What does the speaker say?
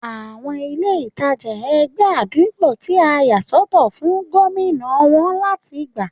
Àwọn ilé ìtajà ẹgbẹ́ àdúgbò tí a yà sọ́tọ̀ fún gómìnà wón láti gbà